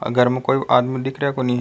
घर में कोई आदमी दिख रेहा कोनी।